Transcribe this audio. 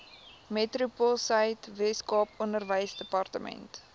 metropoolsuid weskaap onderwysdepartement